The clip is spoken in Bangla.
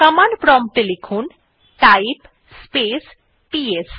কমান্ডে প্রম্পট এ লিখুন টাইপ স্পেস পিএস